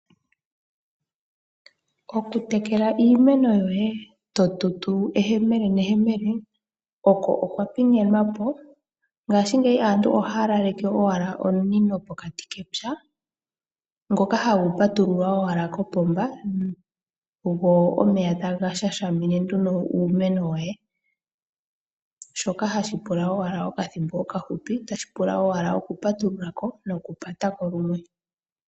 Okutekela iimeno yoye totutu ehemele nehemele oko okwa pingenwapo ngaashingeyi aantu ohaalaleke owala omunino pokati kepya ngoka hagu patululwa owala kopomba go omeya taga shashamine nduno uumeno woye shoka hashi pula owala okathimbo okahupi, tashi pula owala oku patululako nokupatako lumwe.